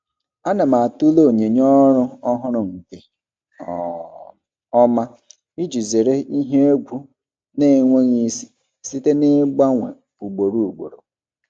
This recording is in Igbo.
Ana m atụle onyinye ọrụ ọhụrụ nke um ọma iji zere ihe egwu na-enweghị isi site n'ịgbanwe ugboro ugboro.